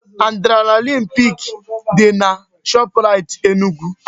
Adrenaline peak dị na Shoprite Enugu